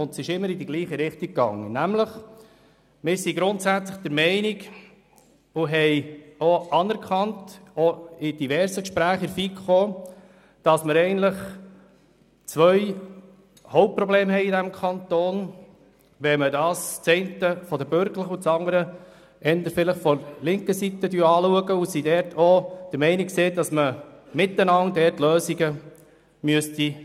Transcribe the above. Diese gingen immer in dieselbe Richtung, nämlich: Wir sind grundsätzlich der Meinung – und in der FiKo ist das grundsätzlich anerkannt –, dass der Kanton Bern zwei Hautprobleme aufweist und die linke und die bürgerliche Seite sollten hier eine gemeinsame Lösung finden.